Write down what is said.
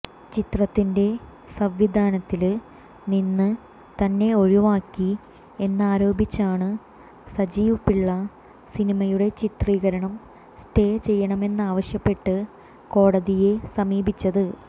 ചിത്രത്തിന്റെ സംവിധാനത്തില് നിന്ന് തന്നെ ഒഴിവാക്കി എന്നാരോപിച്ചാണ് സജീവ് പിള്ള സിനിമയുടെ ചിത്രീകരണം സ്റ്റേ ചെയ്യണമെന്നാവശ്യപ്പെട്ട് കോടതിയെ സമീപിച്ചത്